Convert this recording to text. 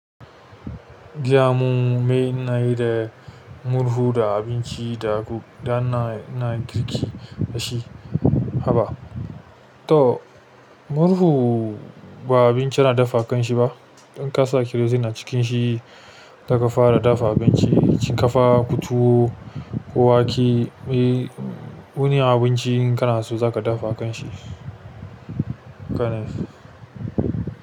Jiya mu mai na yi da murhu da abinci da guga, da na, ina girki da shi, haba. To murhu ba abinci ana dafa kanshi ba. In ka sa kerozine a cikin shi, zaka fara dafa abinci, ki ƙafa, tuwo, ko wake, eh, wani abinci inka na so zaka dafa kanshi. Kana.